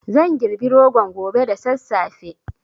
Zan girbi rogon gobe da sassafe